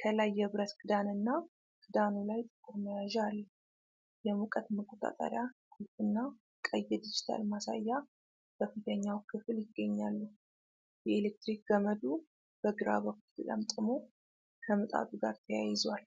ከላይ የብረት ክዳንና ክዳኑ ላይ ጥቁር መያዣ አለው። የሙቀት መቆጣጠሪያ ቁልፍና ቀይ የዲጂታል ማሳያ በፊተኛው ክፍል ይገኛሉ። የኤሌክትሪክ ገመዱ በግራ በኩል ተጠምጥሞ ከምጣዱ ጋር ተያይዟል።